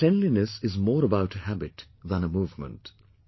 But cleanliness is more about a habit than a movement